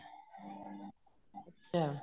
ਅੱਛਾ